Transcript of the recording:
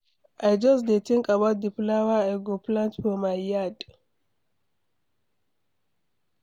I just dey think about the flower I go plant for my yard.